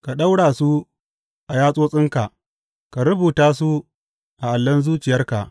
Ka daure su a yatsotsinka; ka rubuta su a allon zuciyarka.